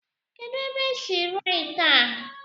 Kedu ebe esi rụọ ite a?